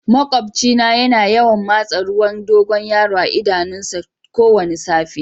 Maƙwabci na ya na yawan masa ruwan dogoyaro a'idanun ta kowani safe.